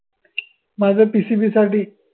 माझं PCB साठी